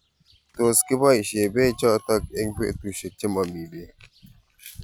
Tos kibaishe peek chotok eng' petushek che mami peek